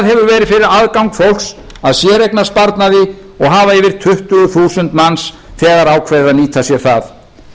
verið fyrir aðgang fólks að séreignarsparnaði og hafa yfir tuttugu þúsund manns þegar ákveðið að nýta sér það